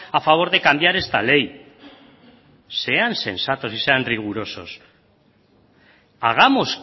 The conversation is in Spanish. a favor de cambiar esta ley sean sensatos y sean rigurosos hagamos